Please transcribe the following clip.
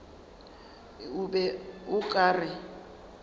o be o ka re